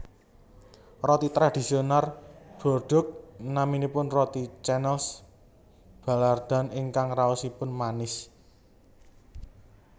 Roti tradisional Bordeaux naminipun roti Canneles Baillardan ingkang raosipun manis